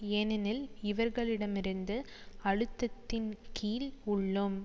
ஏனெனில் இவர்களிடமிருந்து அழுத்தத்தின் கீழ் உள்ளோம்